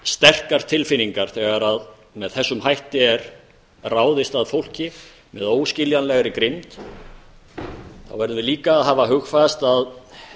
sterkar tilfinningar þegar með þessum hætti er ráðist að fólki með óskiljanlegri grimmd þá verðum við líka að hafa hugfast að